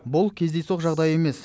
бұл кездейсоқ жағдай емес